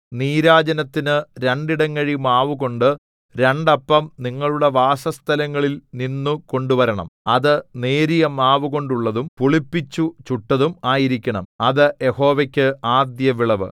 നീരാജനത്തിന് രണ്ടിടങ്ങഴി മാവുകൊണ്ട് രണ്ടപ്പം നിങ്ങളുടെ വാസസ്ഥലങ്ങളിൽ നിന്നു കൊണ്ടുവരണം അത് നേരിയ മാവുകൊണ്ടുള്ളതും പുളിപ്പിച്ചു ചുട്ടതും ആയിരിക്കണം അത് യഹോവയ്ക്ക് ആദ്യവിളവ്